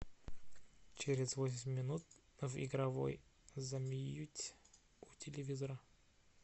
через восемь минут в игровой замьють у телевизора